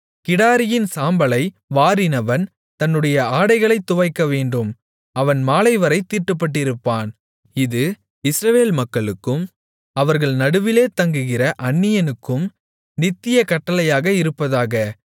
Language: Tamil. கிடாரியின் சாம்பலை வாரினவன் தன்னுடைய ஆடைகளைத் துவைக்கவேண்டும் அவன் மாலைவரைத் தீட்டுப்பட்டிருப்பான் இது இஸ்ரவேல் மக்களுக்கும் அவர்கள் நடுவிலே தங்குகிற அந்நியனுக்கும் நித்திய கட்டளையாக இருப்பதாக